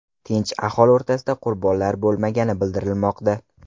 Tinch aholi o‘rtasida qurbonlar bo‘lmagani bildirilmoqda.